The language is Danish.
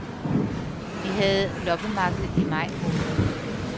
Vi havde loppemarked i maj måned.